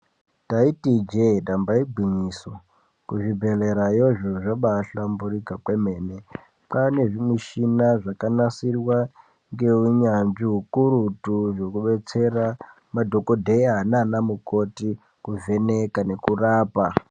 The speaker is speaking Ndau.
Taiti ijee ndaba igwinyiso kuzvibhedhlerayo zviro zvabahlamburuka kwemene kwaane zvimichini zvakanasirwa ngeunyanzvi ukurutu zvekudetsera madhokodheya nanamukoti kuvheneka nekurapa.